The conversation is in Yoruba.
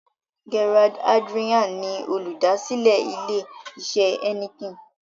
Gerard Adriaan ni olùdásílẹ̀ ilè isẹ̀ Heineken.